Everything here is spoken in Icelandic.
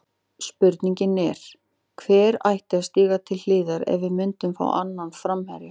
Spurningin er, hver ætti að stíga til hliðar ef við myndum fá annan framherja?